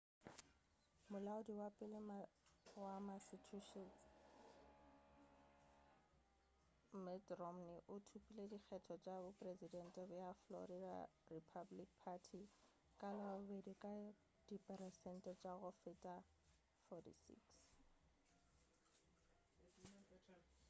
molaodi wa pele wa massachusetts mitt romney o thopile dikgetho tša bopresedente bja florida republican party ka labobedi ka diperesente tša go feta 46